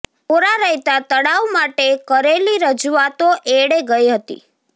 કોરા રહેતા તળાવ માટે કરેલી રજૂઆતો એળે ગઈ હતી